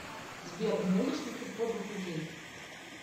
сбер ненавидишь ли ты подлых людей